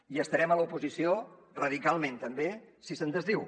i estarem a l’oposició radicalment també si se’n desdiu